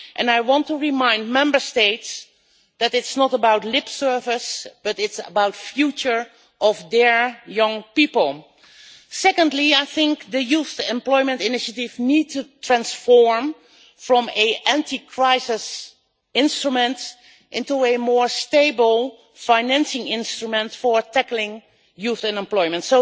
I want to remind Member States that it is not about lip service, but the future of their young people. Secondly, I think the Youth Employment Initiative needs to be transformed from an anti-crisis instrument into a more stable financing instrument for tackling youth unemployment.